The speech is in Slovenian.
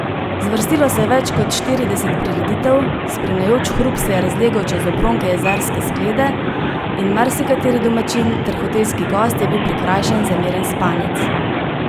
Zvrstilo se je več kot štirideset prireditev, spremljajoč hrup se je razlegal čez obronke jezerske sklede in marsikateri domačin ter hotelski gost je bil prikrajšan za miren spanec.